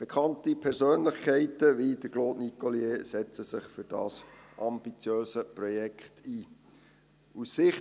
Bekannte Persönlichkeiten wie Claude Nicollier setzen sich für dieses ambitiöse Projekt ein.